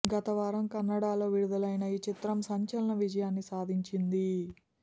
గతవారం కన్నడలో విడుదలైన ఈ చిత్రం సంచలన విజయాన్ని సాధించింది